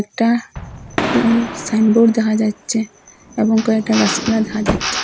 একটা ল সাইনবোর্ড দেখা যাচ্ছে এবং কয়েকটা গাসপালা দেখা যাচ্ছে।